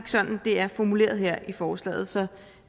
sådan det er formuleret her i forslaget så